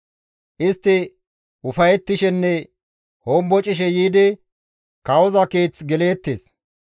Istti ufayettishenne hombocishe yiidi kawoza keeth geleettes.